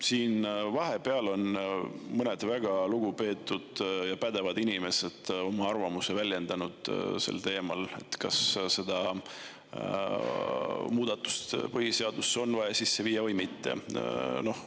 Siin on vahepeal mõned väga lugupeetud ja pädevad inimesed avaldanud arvamust, kas see muudatus on vaja põhiseadusesse sisse viia või mitte.